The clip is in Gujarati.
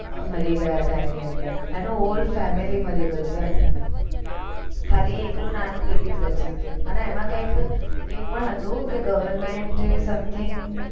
મરી ગયા હતા એની અંદર એનું all family મરી ગયું હતું ખાલી એકલું નાનું baby જ બચ્ચું તું અને એમાં કૈક એવું પણ હતું કે government something